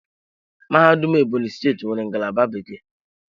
Mahadum Ebonyi steeti nwere ngalaba bekee.